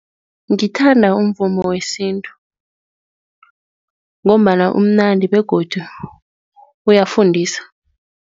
Ngithanda umvumo wesintu ngombana umnandi begodu uyafundisa.